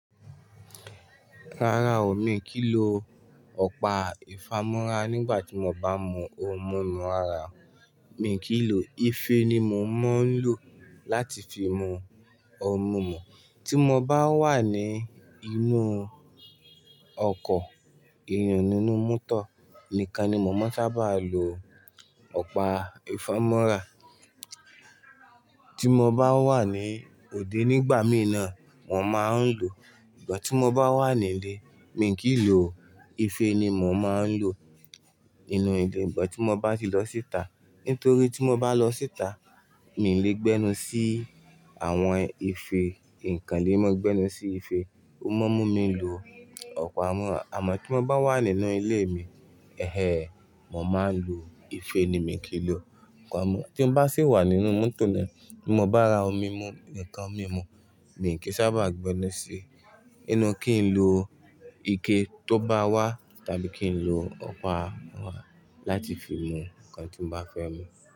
Rárá o, mi kì í lo ọ̀pá ìfámọ́ra nígbà tí mo bá mú ohun mímu ara mi. Mi kì í lò, ife ni mo máa ń lò láti fi mú ohun mímu. Tí mo bá wà ní inú ọkọ̀ èyun ninú motor nìkan ni mon máa sábà lo ọ̀pá ìfámọ́ra. Tí mo bá wà ní òde nígbà mì nàn, mo máa ń lò. Ìgbà tí mo bá wà ní ilé, mi kì í lò, ife ni mo máa ń lò nínú ilé. Ìgbà tí mo bá ti lọ síta, nítorí tí mo bá lọ síta, mi ò lè gbẹ́nu sí àwọn ife, nǹkan ni mo gbẹ́nu sí ife, ó máa mú mi lu ọ̀pá mú. Àmọ́ tí mo bá wà nínú ilé mi, ẹhe, mo máa ń lò, ife ni mi ò kí n lo ọ̀pá mú. Tí mo bá sì wà nínú mọ́tò ni, tí mo bá ra omi mu, nǹkan mi mu, mi kì í sábà gbẹ́nu sí inú kí n lo ike tó bá wà tàbí kí n lo ọ̀pá láti fi mú nǹkan tí mo bá fẹ́ mú.